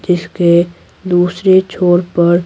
जिसके दूसरे छोर पर--